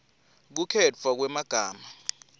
kukhetfwa kwemagama